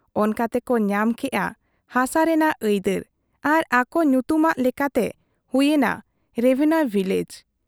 ᱚᱱᱠᱟᱛᱮ ᱠᱚ ᱧᱟᱢ ᱠᱮᱜ ᱟ ᱦᱥᱟ ᱨᱮᱱᱟᱜ ᱟᱹᱭᱫᱟᱹᱨ ᱟᱨ ᱟᱠᱚ ᱧᱩᱛᱩᱢᱟᱜ ᱞᱮᱠᱟᱛᱮ ᱦᱩᱭ ᱮᱱᱟ ᱨᱮᱵᱷᱮᱱᱭᱚ ᱵᱷᱤᱞᱮᱡᱽ ᱾